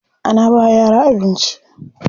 Ana bawa yara abinci.